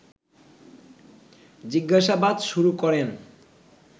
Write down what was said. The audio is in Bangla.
জিজ্ঞাসাবাদ শুরু করেন